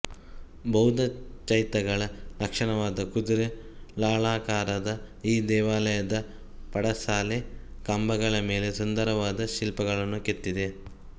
ಬೌದ್ಧ ಚೈತ್ಯಗಳ ಲಕ್ಷಣವಾದ ಕುದುರೆ ಲಾಳಾಕಾರದ ಈ ದೇವಾಲಯದ ಪಡಸಾಲೆ ಕಂಬಗಳ ಮೇಲೆ ಸುಂದರವಾದ ಶಿಲ್ಪಗಳನ್ನು ಕೆತ್ತಿದೆ